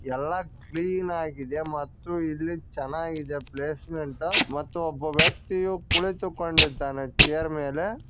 ಎಲ್ಲಾ ಕ್ಲೀನ್ ಆಗಿದೆ ಮತ್ತು ಇಲ್ಲಿ ಚನ್ನಾಗಿದೆ ಪ್ಲೇಸ್ಮೆಂಟ್ ಮತ್ತು ಒಬ್ಬ ವ್ಯಕ್ತಿಯು ಕುಳಿತುಕೊಂಡಿದ್ದಾನೆ ಚೇರ್ ಮೇಲೆ.